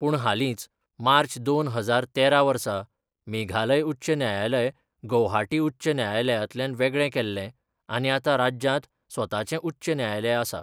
पूण हालींच मार्च दोन हजार तेरा वर्सा मेघालय उच्च न्यायालय गौहाटी उच्च न्यायालयांतल्यान वेगळें केल्लें आनी आतां राज्यांत स्वताचें उच्च न्यायालय आसा.